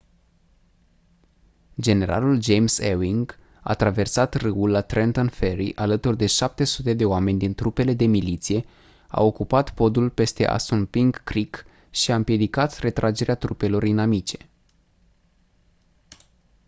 generalul james ewing a traversat râul la trenton ferry alături de 700 de oameni din trupele de miliție a ocupat podul peste assunpink creek și a împiedicat retragerea trupelor inamice